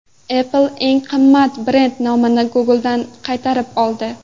Apple eng qimmat brend nomini Google’dan qaytarib oldi.